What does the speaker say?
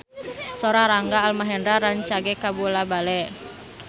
Sora Rangga Almahendra rancage kabula-bale